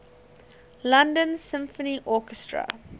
london symphony orchestra